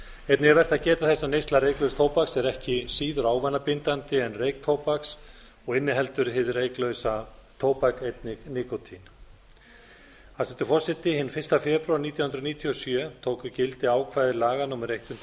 einnig er vert að geta þess að neysla reyklauss tóbaks er ekki síður ávanabindandi en reyktóbaks og inniheldur hið reyklauss tóbak einnig nikótín hæstvirtur forseti hinn fyrsta febrúar nítján hundruð níutíu og sjö tóku gildi ákvæði laga númer hundrað og eitt